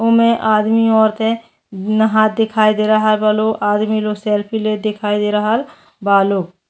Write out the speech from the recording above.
ओमे आदमी ओरते नाहत दिखाई दे रहल बा लोग। आदमी लोग सेल्फी लेते दिखाई दे रहल बा लोग।